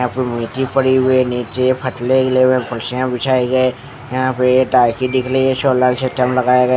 यहाँ पर मीठी पड़ी हुई है नीचे फटले हिले हुए है कुर्सियाँ बिछाए गए यहाँ पे ताकि दिखरी है सोलर सिस्टम लगाए गए ।